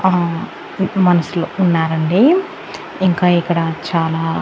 ఆ ఎక్కువ మనసులు ఉన్నారండి ఇంకా ఇక్కడ చాలా--